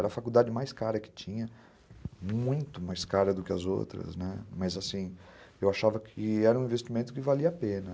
Era a faculdade mais cara que tinha, muito mais cara do que as outras, né, mas assim, eu achava que era um investimento que valia a pena.